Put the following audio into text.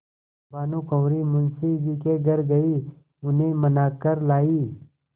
भानुकुँवरि मुंशी जी के घर गयी उन्हें मना कर लायीं